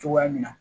Cogoya min na